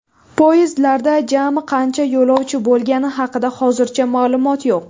Poyezdlarda jami qancha yo‘lovchi bo‘lgani haqida hozircha ma’lumot yo‘q.